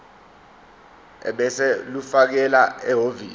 ebese ulifakela ehhovisi